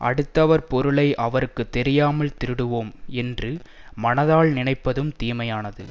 அடுத்தவர் பொருளை அவருக்கு தெரியாமல் திருடுவோம் என்று மனதால் நினைப்பதும் தீமையானது